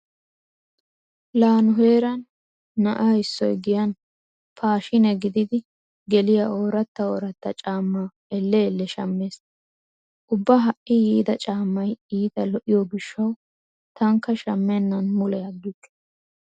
Laa nu heeran na'a issoy giyan paashiine gididi geliya ooratta ooratta caammaa elle elle shammees. Ubba ha"i yiida caammay iita lo'iyo gishshawu taanikka shammennan mule aggikke.